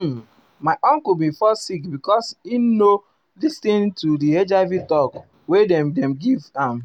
uhm my uncle bin fall sick because he no lis ten to di hiv talk wey dem dey give am.